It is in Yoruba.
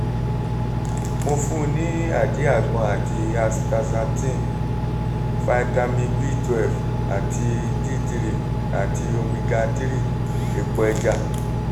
mo fún un ní àdíàgbọn àti astaxanthin fitamin b12 àti d3 àti omega-3 epo ẹja